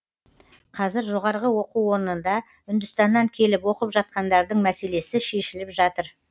қазір жоғарғы оқу орнында үндістаннан келіп оқып жатқандардың мәселесі шешіліп жатыр